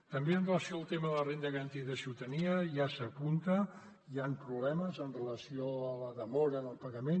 també amb relació al tema de la renda garantida de ciutadania ja s’apunta hi ha problemes amb relació a la demora en el pagament